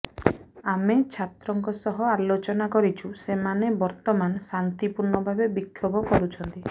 ଆମେ ଛାତ୍ରଙ୍କ ସହ ଆଲୋଚନା କରିଛୁ ସେମାନେ ବର୍ତ୍ତମାନ ଶାନ୍ତିପୂର୍ଣ୍ଣ ଭାବେ ବିକ୍ଷୋଭ କରୁଛନ୍ତି